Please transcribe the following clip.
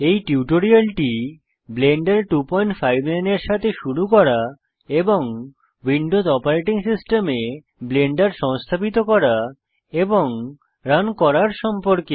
এই টিউটোরিয়ালটি ব্লেন্ডার 259 এর সাথে শুরু করা এবং উইন্ডোজ অপারেটিং সিস্টেমে ব্লেন্ডার সংস্থাপিত করা এবং রান করার সম্পর্কে